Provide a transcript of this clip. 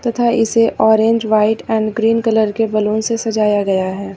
तथा इसे orange white and green colour के बलून से सजाया गया है।